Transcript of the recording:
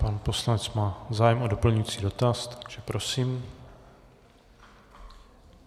Pan poslanec má zájem o doplňující dotaz, takže prosím.